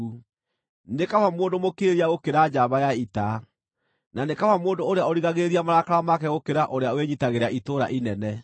Nĩ kaba mũndũ mũkirĩrĩria gũkĩra njamba ya ita, na nĩ kaba mũndũ ũrĩa ũrigagĩrĩria marakara make gũkĩra ũrĩa wĩnyiitagĩra itũũra inene.